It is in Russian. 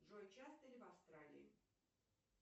джой часто ли в австралии